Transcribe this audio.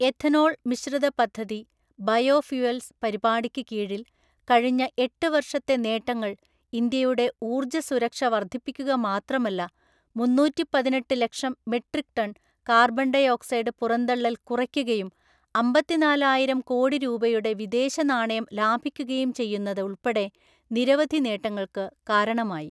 Ethanol മിശ്രിത പദ്ധതി biofuels പരിപാടിയ്ക്ക് കീഴിൽ കഴിഞ്ഞ എട്ട് വർഷത്തെ നേട്ടങ്ങൾ ഇന്ത്യയുടെ ഊർജ സുരക്ഷ വർധിപ്പിക്കുക മാത്രമല്ല, മുന്നൂറ്റിപ്പതിനെട്ടു ലക്ഷം metric ton carbon dioxide പുറന്തള്ളൽ കുറയ്ക്കുകയും അമ്പത്തിനാലായിരം കോടി രൂപയുടെ വിദേശ നാണയം ലാഭിക്കുകയും ചെയ്യുന്നത് ഉൾപ്പെടെ നിരവധി നേട്ടങ്ങൾക്ക് കാരണമായി.